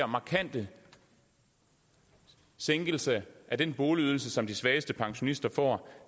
markant sænkelse af den boligydelse som de svageste pensionister får og